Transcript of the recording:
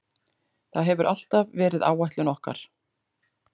Það hefur alltaf verið áætlun okkar.